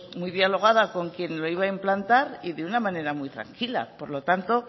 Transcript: muy dialogada con quien lo iba a implantar y de una manera muy tranquila por lo tanto